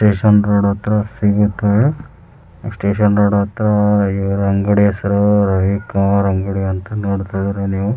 Station road ಹತ್ರ ಸಿಗುತ್ತ station road ಹತ್ರ ಇವ್ರ್ ಅಂಗಡಿ ಹೆಸ್ರು ರವಿಕಾರ್ ಅಂಗ್ಡಿ ಅಂತ ನೋಡ್ತಿದೀರಿ ನೀವು.